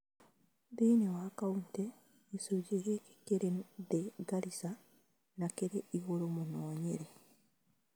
Thĩinĩ wa kauntĩ, gĩcunjĩ gĩkĩ kĩrĩ thĩ Garissa na kĩrĩ igũrũ mũno Nyeri